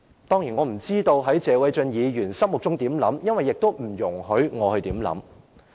當然，我不知謝偉俊議員心中有何想法，因為也不容許我去想。